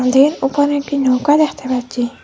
নদীর ওপারে একটি নৌকা দেখতে পাচ্ছি।